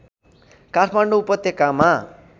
काठमाडौँ उपत्यकामा